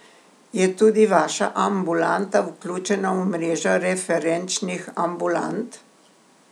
Je tudi vaša ambulanta vključena v mrežo referenčnih ambulant?